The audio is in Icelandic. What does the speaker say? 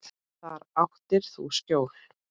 Þar áttir þú skjól.